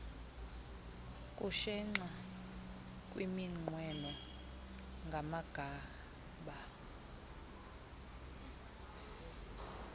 kushenxa kwiminqweno kamagaba